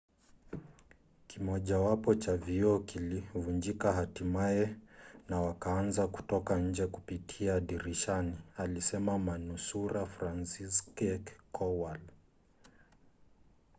kimojawapo cha vioo kilivunjika hatimaye na wakaanza kutoka nje kupitia dirishani, alisema manusura franciszek kowal